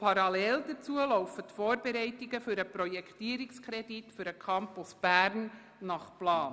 Parallel dazu laufen die Vorbereitungen für den Projektierungskredit für den Campus Bern plangemäss.